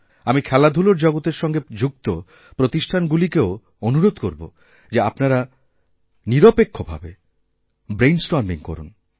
আমি খেলাধূলারজগতের সঙ্গে যুক্ত প্রতিষ্ঠানগুলিকেও অনুরোধ করব যে আপনারা নিরপেক্ষ ভাবে ব্রেইনস্টর্মিং করুন